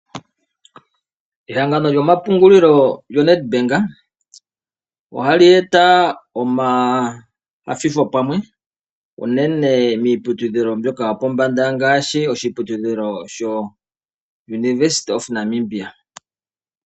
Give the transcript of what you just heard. Ehangano lyomapungulilo lyo NedBank ohali eta omainyanyudho pamwe unene miiputudhilo yopombanda ngaashi oshiputudhilo sho University of Namibia.